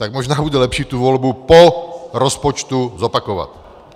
Tak možná bude lepší tu volbu po rozpočtu zopakovat.